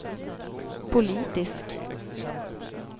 politisk